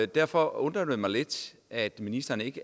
derfor undrer det mig lidt at ministeren ikke